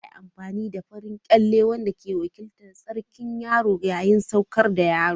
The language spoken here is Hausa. Za a yi amfani da farin kyalle wanda ke wakiltar tsarkin yaro yayin sadaukar da yaro.